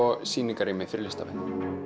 sýningarrými fyrir listamenn